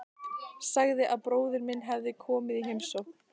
Sagði að bróðir minn hefði komið í heimsókn.